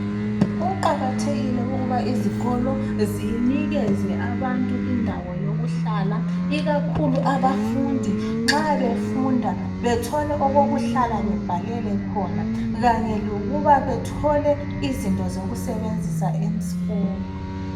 Kuqakathekile ukuba izikolo zinikeze abantu indawo yokuhlala ikakhulu abafundi nxa befunda bethole okokuhlala bebhalele khona kanye lokuba bethole izinto zokusebenzisa esikolo.